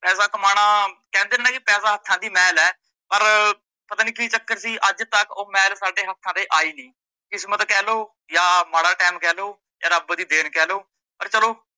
ਪੈਸਾ ਕਮਾਣਾ ਕਹਿੰਦੇ ਨੇ ਨਾਂ ਪੈਸਾ ਹੱਥਾਂ ਦੀ ਮੈਲ ਏ, ਪਰ ਪਤਾ ਨੀ ਕੀ ਚੱਕਰ ਸੀ ਅੱਜ ਤੱਕ ਓਹ ਮੈਲ ਸਾਡੇ ਹੱਥਾਂ ਤੇ ਆਈ ਨਹੀਂ ਕਿਸਮਤ ਕਿਹ ਲੋ, ਹਾਂ ਮਾੜਾ ਟੈਮ ਕਿਹ ਲੋ, ਜਾ ਰੱਬ ਦੀ ਦੇਣ ਕਿਹ ਲੋ, ਪਰ ਚੱਲੋ